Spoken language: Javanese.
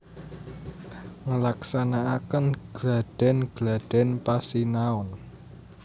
Nglaksanakaken gladhen gladhen pasinaon